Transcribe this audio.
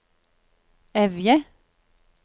Evje